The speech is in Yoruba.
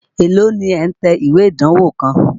Èló ni ẹ̀ ń tẹ ìwé ìdánwó kan?